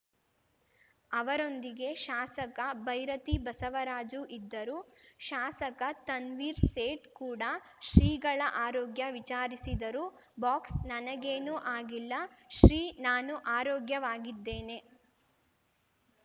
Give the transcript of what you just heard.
ಅವರೊಂದಿಗೆ ಶಾಸಕ ಭೈರತಿ ಬಸವರಾಜು ಇದ್ದರು ಶಾಸಕ ತನ್ವೀರ್‌ ಸೇಠ್‌ ಕೂಡ ಶ್ರೀಗಳ ಆರೋಗ್ಯ ವಿಚಾರಿಸಿದರು ಬಾಕ್ಸ್‌ ನನಗೇನೂ ಆಗಿಲ್ಲ ಶ್ರೀ ನಾನು ಆರೋಗ್ಯವಾಗಿದ್ದೇನೆ